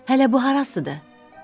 Hələ bu harasıdır?